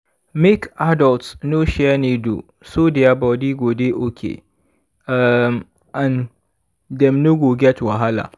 make adults no share needle so their body go dey okay um and dem no go get wahala